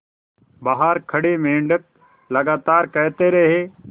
बाहर खड़े मेंढक लगातार कहते रहे